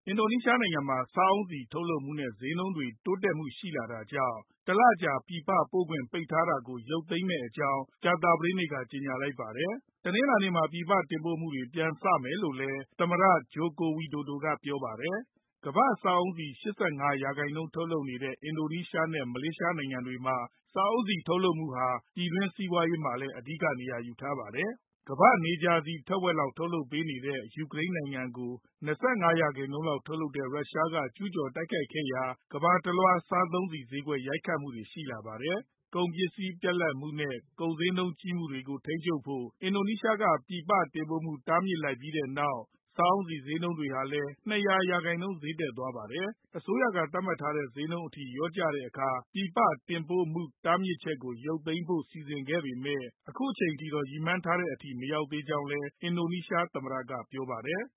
အင်ဒိုနီးရှားနိုင်ငံမှာ စားအုန်းဆီ ထုတ်လုပ်မှုနဲ့ ဈေးနှုန်းတွေမှာ တိုးတက်မှုတွေ ရှိလာတာကြောင့် ၁ လကြာ ပြည်ပပို့ခွင့် ပိတ်ထားတာကို ပြန်ရုပ်သိမ်းမယ့်အကြောင်း ကြာသပတေးနေ့က ကြေညာလိုက်ပါတယ်။ တနင်္လာနေ့မှာ ပြည်ပတင်ပို့မှုတွေ ပြန်စမယ်လို့လည်း သမ္မတ Joko Widodo က ပြောပါတယ်။ ကမ္ဘာ့စားအုန်းဆီ ၈၅ ရာခိုင်နှုန်း ထုတ်လုပ်နေတဲ့ အင်ဒိုနီးရှား နဲ့ မလေးရှားနိုင်ငံတွေမှာ စားအုန်းဆီ ထုတ်လုပ်မှုဟာ ပြည်တွင်းစီးပွားရေးမှာလည်း အဓိက နေရာယူထားပါတယ်။ ကမ္ဘာ့နေကြာဆီ တဝက်လောက် ထုတ်လုပ်ပေးနေတဲ့ ယူကရိန်းနိုင်ငံကို ၂၅ ရာခိုင်နှုန်းလောက် ထုတ်လုပ်နေတဲ့ ရုရှားက ကျုးကျော် တိုက်ခိုက်ခဲ့ရာက ကမ္ဘာတလွှား စားသုံးဆီဈေးကွက်မှာ ရိုက်ခတ်လာခဲ့တာပါ။ ကုန်ပစ္စည်း ပြတ်လပ်မှုနဲ့ ကုန်ဈေးနှုန်းကြီးမြင့်မှုကို ထိန်းချုပ်ဖို့ အင်ဒိုနီးရှားက ပြည်ပတင်ပို့မှု တားမြစ်လိုက်ပြီးနောက် စားအုန်းဆီဈေးနှုန်းဟာလည်း ၂၀၀ ရာခိုင်နှုန်း ဈေးတက်သွားပါတယ်။ အစိုးရက သတ်မှတ်ထားတဲ့ ဈေးနှုန်းအထိ လျော့ကျတဲ့အခါ ပြည်ပတင်ပို့မှု တားမြစ်ချက်ကို ရုပ်သိမ်းဖို့ စီစဉ်ထားပေမဲ့ အခုအချိန်အထိတော့ ရည်မှန်းထားတဲ့အထိ မရောက်သေးကြောင်းလည်း အင်ဒိုနီးရှားသမ္မတက ပြောပါတယ်။